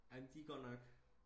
amen de er godt nok